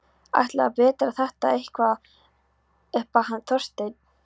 Ætlarðu að bera þetta eitthvað upp á hann Þorstein?